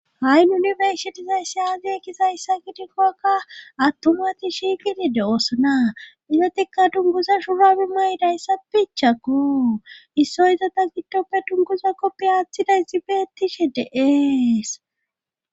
Hay nuuni be'ishe dizayssi aazee gidikkokka attumati shiigidide oosana izotikka dunguza shurabi may7i dayssa bichakko issoy iza ta giddoppe dunkuza koppi aaththiday zibetishe deees.